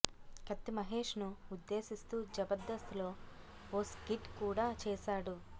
కత్తి మహేష్ ను ఉద్దేశిస్తూ జబర్దస్త్ లో ఓ స్కిట్ కూడా చేశాడు